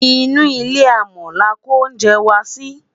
inú ilé amò là kò oúnjẹ wà Si